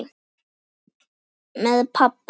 Með pabba.